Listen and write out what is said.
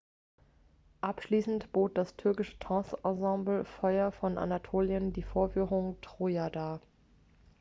"abschließend bot das türkische tanzensemble feuer von anatolien die vorführung "troja" dar.